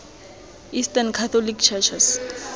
eastern catholic churches